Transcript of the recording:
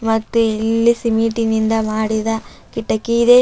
ಮತ್ತೆ ಇಲ್ಲಿ ಸಿಮೆಂಟಿನಿಂದ ಮಾಡಿದ ಕಿಟಕಿ ಇದೆ.